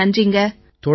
ரொம்ப நன்றிங்க